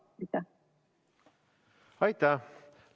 Aitäh!